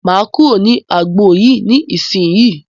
Máa kúrò ní agbọn yìí ní ìsínyì.